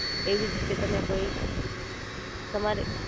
એવી જ રીતે તમે કોઈ, તમારે